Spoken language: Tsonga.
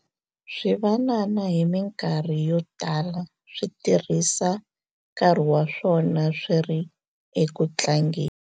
swivanana hi mikarhi yo tala swi tirhisa nkarhi wa swona swi ri eku tlangeni